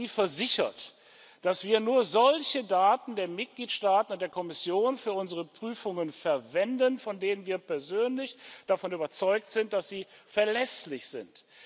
Seien Sie versichert, dass wir nur solche Daten der Mitgliedstaaten und der Kommission für unsere Prüfungen verwenden, von denen wir persönlich davon überzeugt sind, dass sie verlässlich sind.